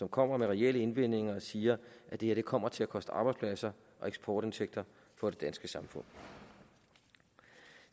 kommer med reelle indvendinger og siger at det her kommer til at koste arbejdspladser og eksportindtægter for det danske samfund